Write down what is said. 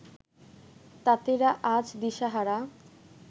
তাঁতিরা আজ দিশাহারা